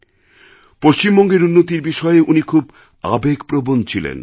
পশ্চিমবঙ্গের উন্নতির বিষয়ে উনি খুব আবেগপ্রবণ ছিলেন